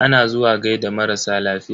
Ana zuwa gaida marasa lafiya.